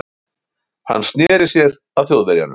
Hann sneri sér að Þjóðverjanum.